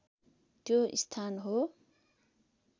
त्यो स्थान हो